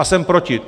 A jsem proti.